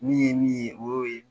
Min ye min ye, o y'o ye.